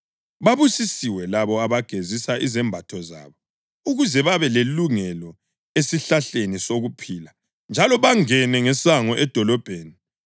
Babusisiwe labo abagezisa izembatho zabo ukuze babe lelungelo esihlahleni sokuphila njalo bangene ngesango edolobheni.